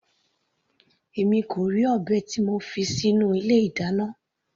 Èmi kò rí ọ̀bẹ tí mo fi sínú ilé ìdáná.